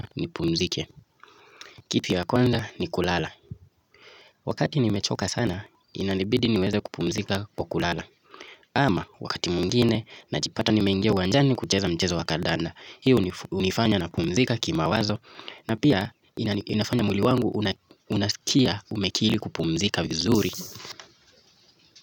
Nipumzike, kitu ya kwanza ni kulala wakati nimechoka sana inanibidi niweze kupumzika kwa kulala ama wakati mwingine najipata nimeingia uwanjani kucheza mchezo wa kandanda hii hunifanya napumzika kimawazo na pia inafanya mwili wangu unaskia umekiri kupumzika vizuri.